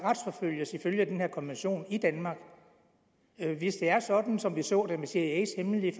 ifølge den her konvention retsforfølges i danmark hvis det er sådan som vi så det med cias hemmelige